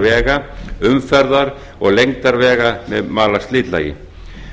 vega umferðar og lengdar vega með malarslitlagi